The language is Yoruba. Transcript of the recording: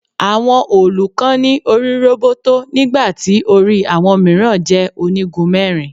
Àwọn òòlù kan ní orí roboto nígbà tí orí àwọn mìíràn jẹ́ onígun mẹ́rin.